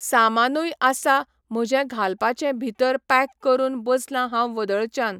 सामानूय आसा म्हजें घालपाचें भितर पॅक करून बसलां हांव वदळच्यान.